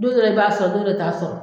Don dɔra i b'a sɔrɔ don dɔrɔ e t'a sɔrɔ